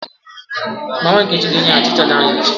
Mama nkechi ga-enyeghachi chaja ahu echi